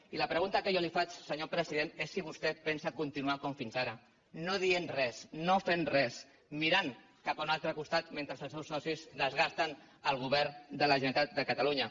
i la pregunta que jo li faig senyor president és si vostè pensa continuar com fins ara no dient res no fent res mirant cap a un altre costat mentre els seus socis desgasten el govern de la generalitat de catalunya